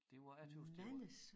Det var jeg tøs det var